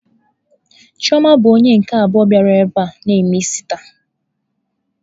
Chioma bụ onye nke abụọ bịara ebe a na eme isi taa.